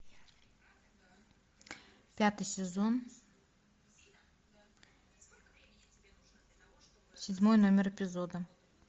пятый сезон седьмой номер эпизода